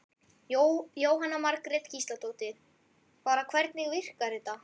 Jóhanna Margrét Gísladóttir: Bara hvernig virkar þetta?